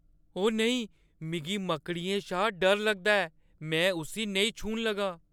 ओ नेईं.. ! मिगी मकड़ियें शा डर लगदा ऐ। में उस्सी नेईं छूह्‌न लगा।